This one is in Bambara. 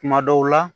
Kuma dɔw la